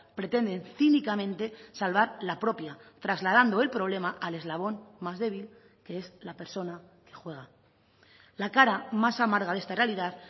pretenden cínicamente salvar la propia trasladando el problema al eslabón más débil que es la persona que juega la cara más amarga de esta realidad